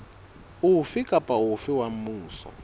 ofe kapa ofe wa mmuso